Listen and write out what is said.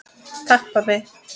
Takk pabbi.